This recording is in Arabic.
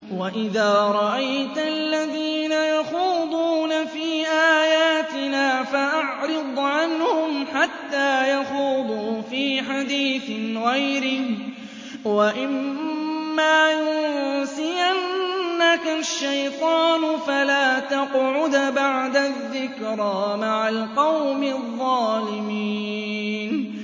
وَإِذَا رَأَيْتَ الَّذِينَ يَخُوضُونَ فِي آيَاتِنَا فَأَعْرِضْ عَنْهُمْ حَتَّىٰ يَخُوضُوا فِي حَدِيثٍ غَيْرِهِ ۚ وَإِمَّا يُنسِيَنَّكَ الشَّيْطَانُ فَلَا تَقْعُدْ بَعْدَ الذِّكْرَىٰ مَعَ الْقَوْمِ الظَّالِمِينَ